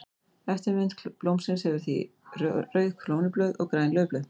Eftirmynd blómsins hefur því rauð krónublöð og græn laufblöð.